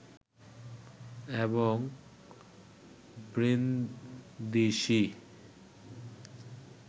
এবং ব্রিন্দিসি